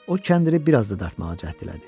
O kəndiri bir az da dartmağa cəhd elədi.